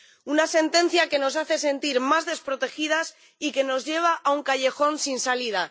Una sentencia que nos hace sentir más desprotegidas y que nos lleva a un callejón sin salida.